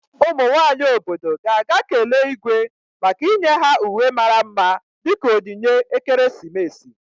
Ụmụ nwanyị obodo ga-aga kelee Igwe maka inye ha uwe mara mma dị ka onyinye ekeresimesi.